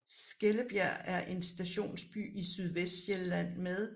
Skellebjerg er en stationsby i Sydvestsjælland med